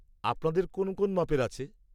আপনাদের কোন কোন মাপের আছে?